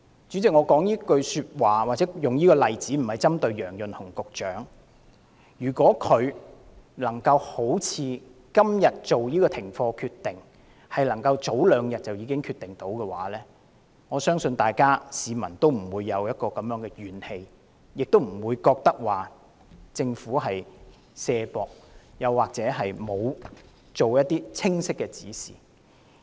主席，我說出此話或引用這個例子，並不是要針對楊潤雄局長，但他如能在早兩天作出今天這個停課的決定，相信市民也不會心生怨氣，認為政府推卸責任或欠缺清晰指示。